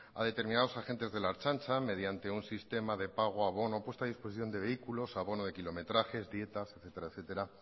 a determinados agentes de la ertzaintza mediante un sistema de pago abono puesta a disposición de vehículos abono de kilometraje dietas etcétera